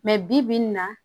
bi-bi in na